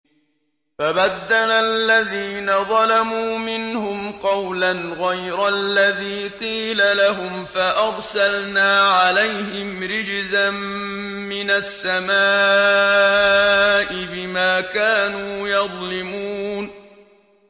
فَبَدَّلَ الَّذِينَ ظَلَمُوا مِنْهُمْ قَوْلًا غَيْرَ الَّذِي قِيلَ لَهُمْ فَأَرْسَلْنَا عَلَيْهِمْ رِجْزًا مِّنَ السَّمَاءِ بِمَا كَانُوا يَظْلِمُونَ